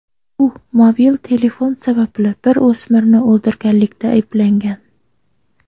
U mobil telefon sababli bir o‘smirni o‘ldirganlikda ayblangan.